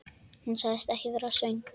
Hún sagðist ekki vera svöng.